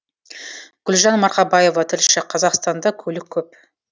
гүлжан марқабаева тілші қазақстанда көлік көп